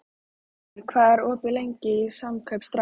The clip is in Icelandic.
Styrmir, hvað er opið lengi í Samkaup Strax?